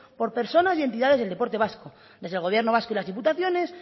por personas y entidades del deporte vasco desde el gobierno vasco y las diputaciones